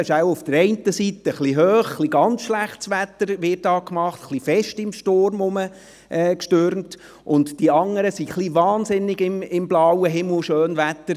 Die eine Seite macht gar sehr auf Schlechtwetter und Sturm, die andere Seite macht gar sehr auf blauen Himmel und Schönwetter.